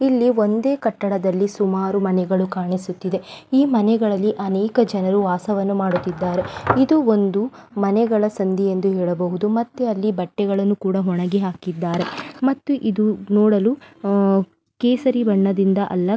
ಇಲ್ಲಿ ಒಂದೇ ಕಟ್ಟಡದಲ್ಲಿ ಸುಮಾರು ಮನೆಗಳು ಕಾಣಿಸುತ್ತಿದೆ ಈ ಮನೆಗಳಲ್ಲಿ ಅನೇಕ ಜನರು ವಾಸವನ್ನು ಮಾಡುತ್ತಿದ್ದಾರೆ ಇದು ಒಂದು ಮನೆಗಳ ಸಂದಿ ಎಂದು ಹೇಳಬಹುದು ಮತ್ತೆ ಅಲ್ಲಿ ಬಟ್ಟೆಗಳನ್ನು ಒಣಗಿ ಹಾಕಿದ್ದಾರೆ ಮತ್ತು ಇದು ನೋಡಲು ಕೇಸರಿ ಬಣ್ಣದಿಂದ ಅಲ್ಲ --